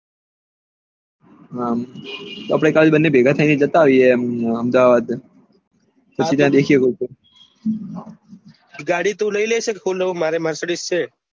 હા આપડે કાલે ભેગા થઇ ને જતા આવીએ એમ અમ અહેમદાબાદ ગાડી તું લઇ લે છે મારી marcidick છે